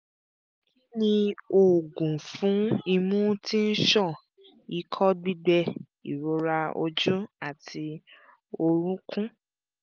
kí ni oògùn fún imú tí ń ṣàn ikọ́ gbígbẹ ìrora ojú àti orúnkún?